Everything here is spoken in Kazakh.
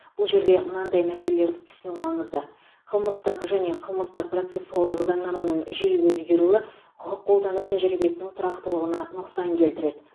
бұл жерде мынадай мәселелерді түсіну маңызды қылмыстық және қылмыстық процессуалдық заңнаманың жиі өзгеруі құқық қолдану тәжірибесінің тұрақтылығына нұқсан келтіреді